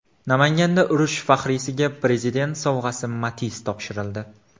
Namanganda urush faxriysiga Prezident sovg‘asi Matiz topshirildi.